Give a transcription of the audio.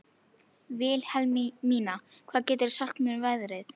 Vilhelmína, hvað geturðu sagt mér um veðrið?